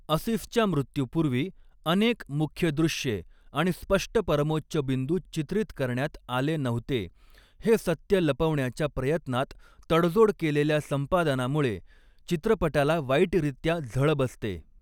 असिफच्या मृत्यूपूर्वी अनेक मुख्य दृश्ये आणि स्पष्ट परमोच्चबिंदु चित्रित करण्यात आले नव्हते हे सत्य लपवण्याच्या प्रयत्नात तडजोड केलेल्या संपादनामुळे चित्रपटाला वाईटरित्या झळ बसते.